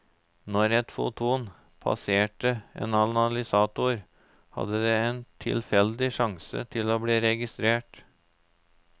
Når et foton passerte en analysator, hadde det en tilfeldig sjanse til å bli registrert.